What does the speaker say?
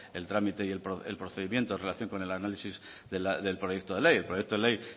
el trámite y el procedimiento en relación con el análisis del proyecto de ley el proyecto de ley